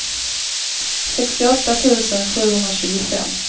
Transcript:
sextioåtta tusen sjuhundratjugofem